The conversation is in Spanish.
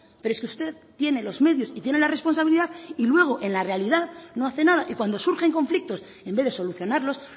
pero es que usted tiene los medios y tiene la responsabilidad y luego en la realidad no hace nada y cuando surgen conflictos en vez de solucionarlos